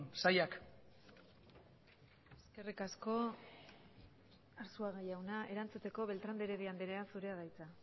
sailak eskerrik asko arzuaga jauna erantzuteko beltrán de heredia andrea zurea da hitza